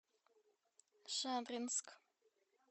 шадринск